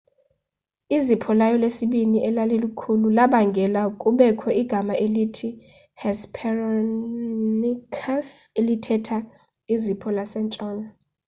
izipho layo lesibini elalikhulu labangela kubekho igama elithi hesperonychus elithetha izipho lasentshona